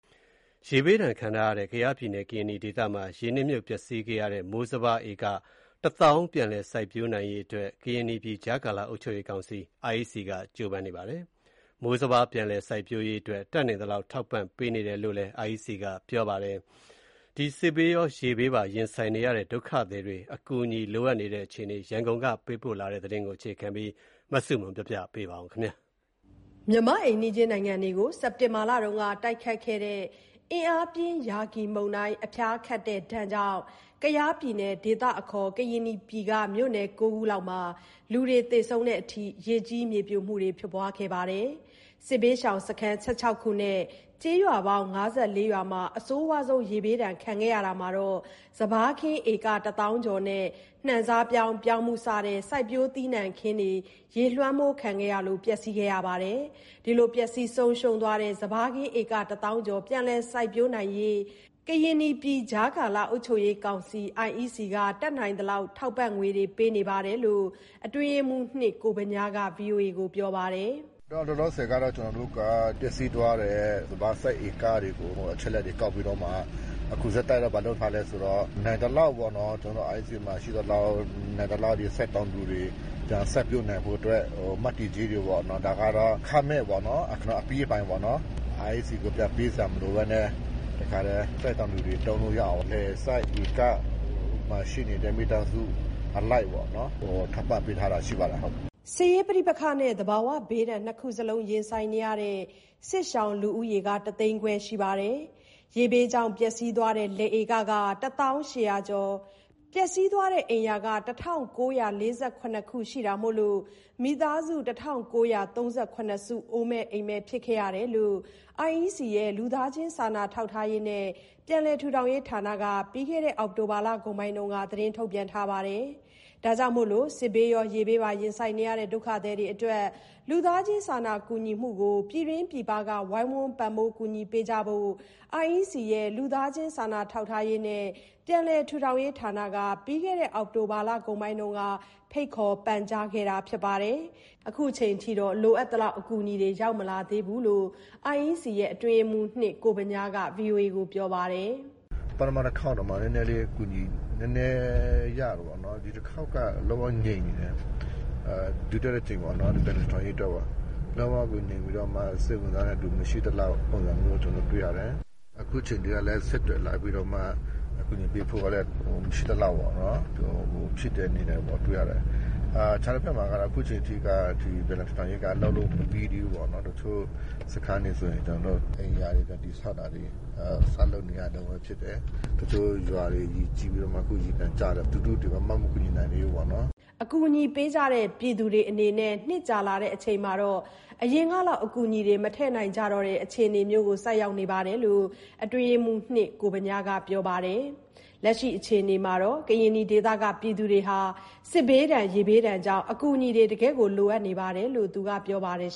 ရေဘေးဒဏ်ခံထားရတဲ့ ကယားပြည်နယ်၊ ကရင်နီဒေသမှာ ရေနစ်မြုပ်ပျက်စီးခဲ့ရတဲ့ မိုးစပါး ဧကတသောင်း ပြန်လည်စိုက်ပျိုးနိုင်ရေးအတွက် ကရင်နီပြည်ကြားကာလ အုပ်ချုပ်ရေးကောင်စီ က ကြိုးစားနေပါတယ်။ မိုးစပါး ပြန်လည်စိုက်ပျိုးရေးအတွက် တတ်နိုင်သလောက် ထောက်ပံ့ပေးနေတယ်လို့ IEC ကပြောပါတယ်။ စစ်ဘေးရော ရေဘေးပါ ရင်ဆိုင်နေရတဲ့ ဒုက္ခသည်တွေ အကူအညီလိုအပ်နေတဲ့ အခြေအနေ ရန်ကုန်ကပေးပို့တဲ့ သတင်းကို အခြေခံပြီး တင်ပြထားပါတယ်။ မြန်မာ့အိမ်နီးချင်းနိုင်ငံတွေကို စက်တင်ဘာလက တိုက်ခတ်တဲ့ အင်အားပြင်း ရာဂီမုန်တိုင်း အဖျားခတ်တဲ့ဒဏ်ကြောင့် ကယားပြည်နယ်၊ ဒေသအခေါ် ကရင်နီပြည်က မြို့နယ် ၉ ခုလောက်မှာ လူတွေသေဆုံးတဲ့အထိ ရေကြီး၊ မြေပြိုမှုတွေ ဖြစ်ခဲ့ပါတယ်။ စစ်ဘေးရှောင် စခန်း ၁၆ ခု နဲ့ ကျေးရွာပေါင်း ၅၄ ရွာမှာ အဆိုးဝါးဆုံး ရေဘေးဒဏ်ခံခဲ့ရတာမှာ စပါးခင်း ဧက ၁ သောင်းကျော်နဲ့ နှံစားပြောင်း၊ ပြောင်းဖူး စတဲ့စိုက်ပျိုးသီးနှံခင်းတွေ ရေလွှမ်းခံခဲ့ရလို့ ပျက်စီးခဲ့ပါတယ်။ ပျက်စီးသွားတဲ့ စပါးခင်း ဧကတစ်သောင်းကျော် ပြန်လည် စိုက်ပျိုးနိုင်ဖို့ ကရင်နီပြည်ကြားကာလအုပ်ချုပ်ရေးကောင်စီ က တတ်နိုင်သလောက် ထောက်ပံ့ငွေတွေ ပေးနေတယ်လို့ အတွင်းရေးမှူး ကိုဗညားက ဗွီအိုအေကို ပြောပြပါတယ်။ “လောလောဆယ်ကတော့ ကျနော်တို့က ပျက်စီးသွားတဲ့ စပါးစိုက်ဧကတွေကို အချက်အလက်တွေ ကောက်ပြီးတော့မှ အခုဆက်တိုက် ဘာလုပ်ထားလဲဆိုတော့ နိုင်သလောက်ပေါ့နော်၊ ကျနော်တို့ IEC မှာ ရှိသလောက် နိုင်သလောက် ဒီစိုက်တောင်သူတွေ ပြန်စိုက်ပျိုးနိုင်ဖို့အတွက် မ,တည်ကြေးတွေပေါ့နော်၊ ဒါကတော့ အခမဲ့ပေါ့ အပြီးအပိုင်ပေါ့နော်။ IEC ကို ပြန်ပေးစရာမလိုဘဲနဲ့ တခါတည်း စိုက်တောင်သူတွေ သုံးလို့ရအောင် လယ်စိုက်ဧကမှာ ရှိနေတဲ့ မိသားစုအလိုက်ပေါ့နော်၊ ထောက်ပံ့ပေးထားတာရှိပါတယ်ဟုတ်။” စစ်ရေးပဋိပက္ခနဲ့ သဘာဝဘေးဒဏ် နှစ်ခုစလုံး ရင်ဆိုင်နေရတဲ့ စစ်ဘေးရှောင်လူဦးရေ တသိန်းခွဲရှိပြီး ရေဘေးကြောင့် ပျက်စီးသွားတဲ့ လယ်ဧက ၁၀,၈၀၀ ကျော်၊ ပျက်စီးသွားတဲ့ အိမ်ရာ ၁,၉၄၇ ခု ရှိတာမို့ မိသားစု ၁,၉၃၇ စုက အိုးမဲ့အိမ်မဲ့ ဖြစ်ခဲ့ရတယ်လို့ IEC ရဲ့ လူသားချင်းစာနာထောက်ထားရေးနဲ့ ပြန်လည်ထူထောင်ရေးဌာနက ပြီးခဲ့တဲ့ အောက်တိုဘာလကုန်ပိုင်းက ထုတ်ပြန်ထားပါတယ်။ ဒါကြောင့် စစ်ဘေးရော ရေဘေးပါ ရင်ဆိုင်နေရတဲ့ ဒုက္ခသည်တွေအတွက် လူသားချင်းစာနာကူညီမှုကို ပြည်တွင်းပြည်ပက ဝိုင်းဝန်းပံ့ပိုးကူညီပေးကြဖို့ IEC ရဲ့ လူသားချင်းစာနာထောက်ထားရေးနဲ့ ပြန်လည်ထူထောင်ရေးဌာနက ပြီးခဲ့တဲ့ အောက်တိုဘာလကုန်းပိုင်းက ပန်ကြားခဲ့ပါတယ်။ ခုချိန်ထိတော့ လိုအပ်သလောက် အကူအညီတွေ ရောက်မလာသေးဘူးလို့ IEC အတွင်းရေးမှူး ကိုဗညားက ဗွီအိုအေကို ပြောပါတယ်။ “ပထမ တခေါက်တောင်မှ နည်းနည်းလေး အကူအညီ နည်းနည်းရတယ်ပေါ့နော်။ ဒီတခေါက်က လုံးဝငြိမ်နေတယ်ပေါ့။ ဒုတိယတစ်ကြိမ်ပေါ့နော်၊ ပြန်လည်ထူထောင်ရေးအတွက်ပေါ့၊ လုံးဝကိုငြိမ်ပြီးတော့မှ စိတ်ဝင်စားတဲ့သူ မရှိသလောက် ပုံစံမျိုး ကျနော်တွေ့ရတယ်။ အခုချိန်ထိကလည်း ဆက်သွယ်လာပြီးတော့မှ အကူအညီပေးဖို့ကလည်း မရှိသလောက်ပေါ့နော်။ အခြားတဖက်မှာကတော့ ပြန်လည်ထူထောင်ရေးက လုပ်လို့မပြီးသေးဘူးပေါ့နော်။ တချို့စခန်းတွေဆိုရင် ကျနော်တို့ အိမ်ရာတွေ ပြန်တည်ဆောက်တာတွေ ဆောက်လုပ်နေရတုန်းပဲ ဖြစ်တယ်။ တချို့ရွာတွေ ရေကြီးပြီးတော့မှ အခုရေပြန်ကျတယ်။ လူထုတွေ ဘာမှမကူညီနိုင်သေးဘူးပေါ့နော်။” အကူအညီပေးကြတဲ့ ပြည်သူတွေအနေနဲ့ နှစ်ကြာလာချိန်မှာ အရင်လောက် အကူအညီတွေ မထည့်နိုင်ကြတော့တဲ့ အခြေအနေမျိုးဖြစ်တယ်လို့ အတွင်းရေးမှူး ကိုဗညားက ပြောပါတယ်ရှင်။ လက်ရှိအခြေအနေမှာ ကရင်နီဒေသက ပြည်သူတွေဟာ စစ်ဘေးဒဏ်၊ ရေဘေးဒဏ်ကြောင့် အကူအညီတွေ တကယ်လိုအပ်နေတယ်လို့ သူကပြောပါတယ်